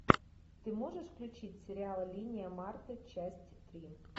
ты можешь включить сериал линия марты часть три